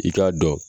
I k'a dɔn